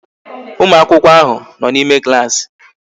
Ụmụakwụkwọ ahụ nọ n'ime klaasị